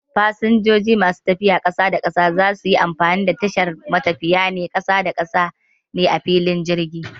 Fasanjoji masu tafiya ƙasar waje za suyi amfani da tashar matafiya na ƙasa-da-ƙasa ne a filin jirgi